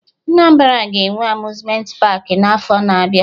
Anambra ga-enwe Amuzmenti paakị n'afọ na-abịa